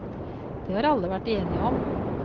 Det har alle vært enige om.